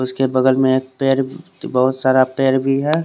उसके बगल में एक पेर बहूत सारा पेर भी है।